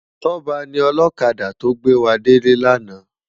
Toba ni òlòkádá tó gbéwádélé làná